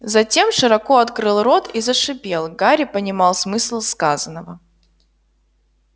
затем широко открыл рот и зашипел гарри понимал смысл сказанного